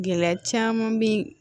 Gɛlɛya caman bɛ yen